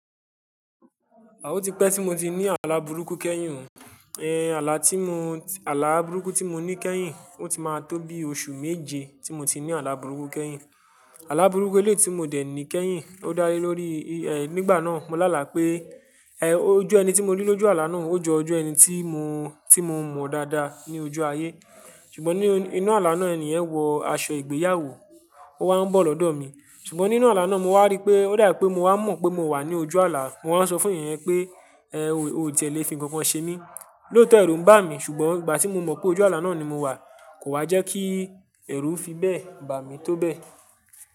A ò ti pẹ́ tí mo ti ní àlà burúkú kẹ́yìn o, ehn ala ti Àlà burúkú tí mo ní kẹ́yìn, ó ti máa tó bi oṣù méje tí mo ti ní àlà burúkú kẹ́yìn. Àlà burúkú eléyii ti mo dẹ̀ ní kẹ́yìn ló dá lé lórí, nígbà náà mo lá àlá pé, ojú ẹni tí mo rí lójú àlà náà ó jọ ojú ẹni tí mo mọ dáadáa ní ojú ayé. Ṣùgbọ́n nínú àlà náà èni yen wọ aṣọ ìgbéyàwó, ó wá ń bọ̀ lọ́dọ̀ mi. Ṣùgbọ́n nínú àlà náà mo wá rí pé ó dà pé mo wá mọ̀ pé mo wà ní ojú àlà. Mo wá ń sọ fún èeyàn pé ẹ ò tí è lè fi nkankan ṣe mí. Lóòótọ́ ẹrú ń bà mí, ṣùgbọ́n ìgbà tí mo mọ̀ pé ojú àlà náà ni mo wà kò wá jẹ́ kí ẹrú fi bẹ́e bà mí tó bẹ́ẹ̀.